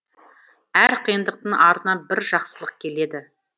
әр қиындықтың артынан бір жақсылық келеді